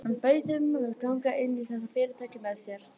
Hann bauð þeim að ganga inn í þetta fyrirtæki með sér.